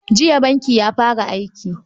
Jiya bankin ya fara aiki.